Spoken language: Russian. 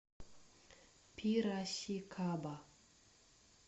пирасикаба